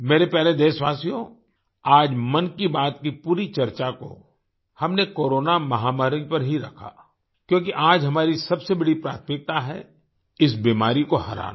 मेरे प्यारे देशवासियो आज मन की बात की पूरी चर्चा को हमने कोरोना महामारी पर ही रखा क्योंकि आज हमारी सबसे बड़ी प्राथमिकता है इस बीमारी को हराना